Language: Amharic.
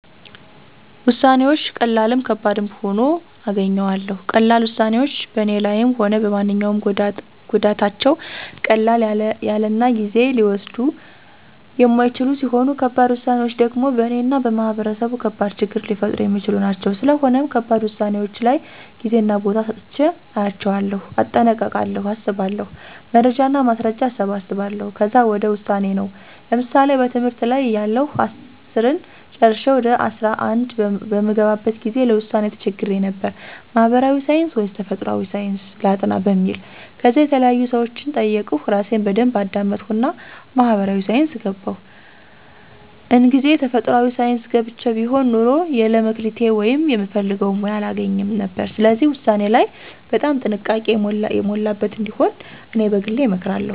ውሳነወች ቀላልም ከባድም ሁኖ አገኘዋለሁ። ቀላል ውሳኔወች በኔ ላይም ሆነ በማንኛውም ጎዳታቸው ቀለል ያለናጊዜ ሊወስዱየ የማይችሉ ሲሆኑ ከባድ ውሳኔወች ደሞ በእነ እና በማህበረሰቡ ከባድ ችግር ሊፈጥሩ የሚችሉ ናቸው። ስለሆነም ከባድ ውሳኔወች ላይ ጌዜና ቦታ ሰጥቸ አያቸዋለሁ። እጠነቀቃለሁ አስባለሁ። መረጃና ማስረጃ አሰባስባለሁ ከዛ ወደ ውሳኔ ነው። ለምሳሌ በትምህርት ላይ እያለሁ አስርን ጨረሸ ወደ አስራ አንድ በምገባበት ጊዜ ለውሳኔ ተቸግሬ ነበር። ማህበራዊ ሳንስ ወይስ ተፈጥሮአዊ ሳንስ ላጥና በሚል። ከዛ የተለያዩ ሰወችን ጠየቅሁ እራሴን በደንብ አዳመጥሁና ማህበራዊ ሳይንስ ገባሁ። እንግዜ ተፈጥሯአዊ ሳንስ ገብቸ ቢሆን ኑሮ የለ መክሊቴ ወይም ምፈልገውን ሙያ አላገኝም ነበር። ስለዚህ ውሳኔ ላይ በጣም ጥንቃቄ የሞላበት እንዲሆን እኔ በግሌ እመክራለሁ